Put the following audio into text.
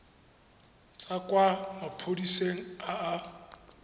tswa kwa maphodiseng a a